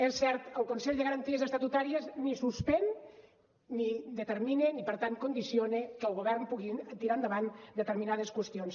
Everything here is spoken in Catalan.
és cert el consell de garanties estatutàries ni suspèn ni determina ni per tant condiciona que el govern pugui tirar endavant determinades qüestions